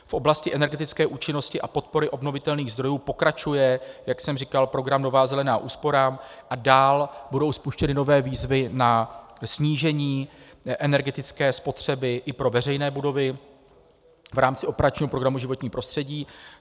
V oblasti energetické účinnosti a podpory obnovitelných zdrojů pokračuje, jak jsem říkal, program Nová zelená úsporám a dál budou spuštěny nové výzvy na snížení energetické spotřeby i pro veřejné budovy v rámci operačního programu Životní prostředí.